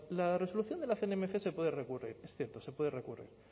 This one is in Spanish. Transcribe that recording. la resolución de la cnmc se puede recurrir es cierto se puede recurrir